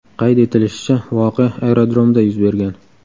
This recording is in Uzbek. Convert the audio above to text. Qayd etilishicha, voqea aerodromda yuz bergan.